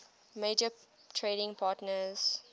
major trading partners